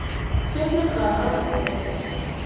Fjölmennt var á uppboði